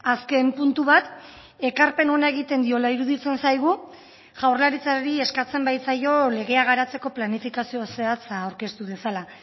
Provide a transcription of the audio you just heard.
azken puntu bat ekarpen ona egiten diola iruditzen zaigu jaurlaritzari eskatzen baitzaio legea garatzeko planifikazio zehatza aurkeztu dezala